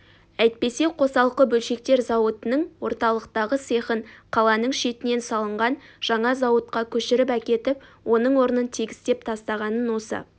әйтпесе қосалқы бөлшектер зауытының орталықтағы цехын қаланың шетінен салынған жаңа зауытқа көшіріп әкетіп оның орнын тегістеп тастағанын осы